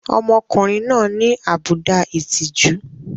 Ọmọkùnrin náà ní àbùdá ìtìjú.